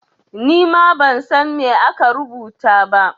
Ni ma ban san me aka rubuta ba.